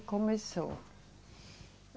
começou.